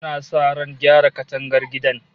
Ana sa ran gyara katangar gidan